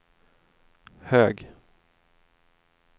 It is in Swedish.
hög